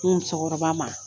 N musokɔrɔba ma